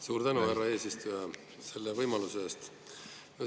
Suur tänu, härra eesistuja, selle võimaluse eest!